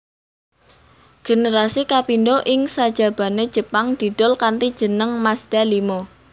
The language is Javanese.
Generasi kapindho ing sajabane Jepang didol kanthi jeneng Mazda limo